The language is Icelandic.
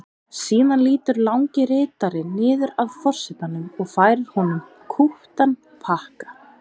Síðan lýtur langi ritarinn niður að forsetanum og færir honum kúptan pakka.